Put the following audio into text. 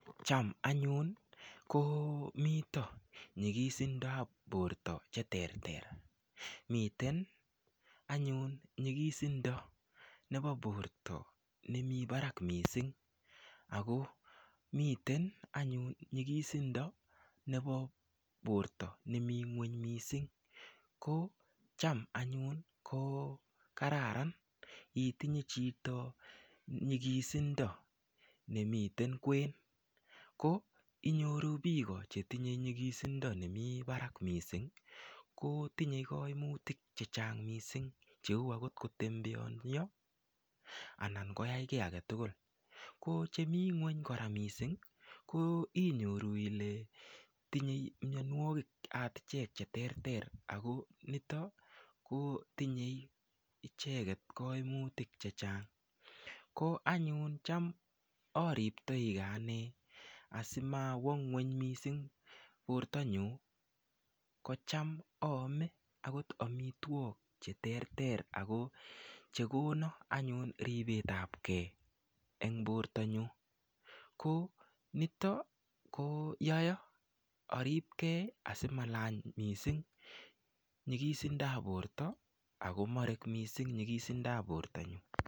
Cham anyun komito nyikisindap porto che ter ter miten anyun nyikisindo nepo borto nemi barak mising ako miten anyun nyikisindo nepo borto nemi ng'weny miising ko cham anyun ko kararan itinye chito nyikisindo nemiten kwen ko inyoru biko chetinyei nyikisindo nemi barak mising ko tinyei kaimutik che chang mising cheu akot kotembeanio anan koyai kiy agetugul ko chemii ng'weny kora mising ko inyoru ile tinyei mionwokik akot akichek che ter ter ako nito ko tinyei icheket koimutik che chang ko anyun cham ariptoike ane asimawo ng'weny mising portanyu ko cham aame akot amitwok che ter ter ako chekono anyun ripet ap kee eng borta nyu ko nito ko yoaa aripkei asimalany mising nyikisindo ap borto ako marek mising nyikisindo ap borto nyu.